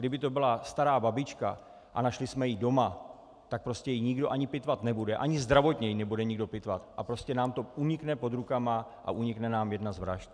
Kdyby to byla stará babička a našli jsme ji doma, tak prostě ji nikdo ani pitvat nebude, ani zdravotně ji nebude nikdo pitvat, a prostě nám to unikne pod rukama a unikne nám jedna z vražd.